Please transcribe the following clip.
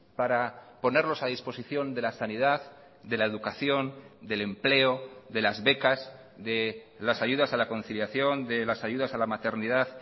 para ponerlos a disposición de la sanidad de la educación del empleo de las becas de las ayudas a la conciliación de las ayudas a la maternidad